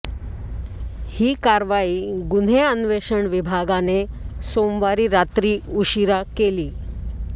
ही कारवाई गुन्हे अन्वेषण विभागाने सोमवारी रात्री उशिरा केली